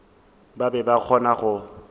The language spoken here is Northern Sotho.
ba be ba kgona go